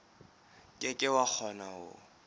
ke ke wa kgona ho